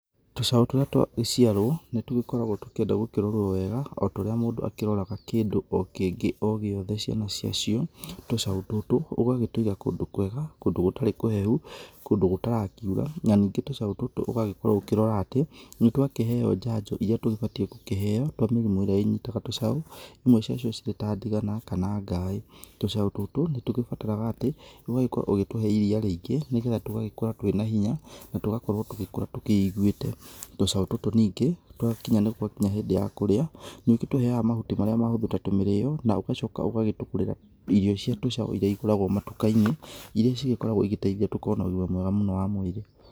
Tũcaũ tũrĩa twagĩciarwo nĩ tũgĩkoragwo tũkĩenda gũkĩrorwo wega otorĩa mũndũ akĩroraga kĩndũ o kĩngĩ o gĩothe ciana cia cio. Tũcaũ tũtũ ũgagĩtũiga kũndũ kwega, kũndũ gũtarĩ kũhehu, kũndũ gũtarakiũra, na ningĩ tũcaũ tũtũ ũgagĩkorwo ũkĩrora atĩ nĩ twakĩheo njanjo irĩa tũgĩbatie kũheo twa mĩrimũ ĩrĩa ĩnyitaga tũcaũ. Imwe cia cio cirĩ ta ndigana, kana ngaĩĩ. Tũcaũ tũtũ nĩ tũgĩbataraga atĩ ũgagĩkorwo ũgĩtũhe iria rĩingĩ nĩgetha tũgagĩkũra twĩna hinya, na tũgakorwo tũgĩkũra twĩigwĩte. Tũcaũ tũtũ nĩngĩ twakinya nĩ gwakĩnya hĩndĩ ya kũrĩa, nĩ ũgĩtũheaga mahuti marĩa mahũthũ ta tũmĩrĩo, na ũgacoka ũgagĩtũgũrĩra irio cia tũcaũ irĩa igũragwo matuka-inĩ, irĩa cigĩkoragwo igĩteithia tũkorwo na ũgĩma mwega mũno wa mwĩrĩ